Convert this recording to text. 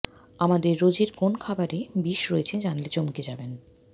আমাদের রোজের কোন খাবারে বিষ রয়েছে জানলে চমকে যাবেন